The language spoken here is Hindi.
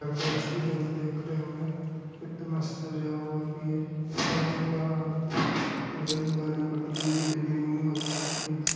सब स्टूडेंट देख रहे होंगे कितना मस्त सजा भी है और यहां रेल वाली पटरी भी डली हुई है बच्चों के लिए |